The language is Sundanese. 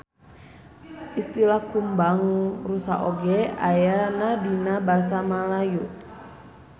Istilah kumbang rusa oge ayana dina basa Malayu.